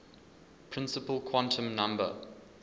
principal quantum number